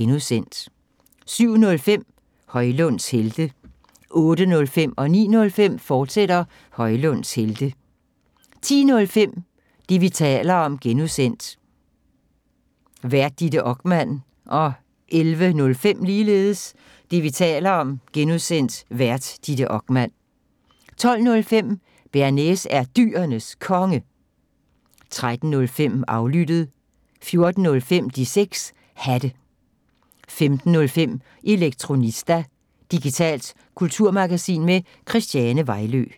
(G) 07:05: Højlunds Helte 08:05: Højlunds Helte, fortsat 09:05: Højlunds Helte, fortsat 10:05: Det, vi taler om (G) Vært: Ditte Okman 11:05: Det, vi taler om (G) Vært: Ditte Okman 12:05: Bearnaise er Dyrenes Konge 13:05: Aflyttet 14:05: De 6 Hatte 15:05: Elektronista – digitalt kulturmagasin med Christiane Vejlø